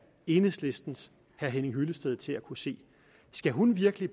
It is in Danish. enhedslistens herre henning hyllested til at kunne se skal hun virkelig